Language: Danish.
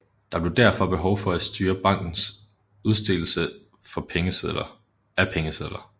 Der blev derfor behov for at styre bankens udstedelse af pengesedler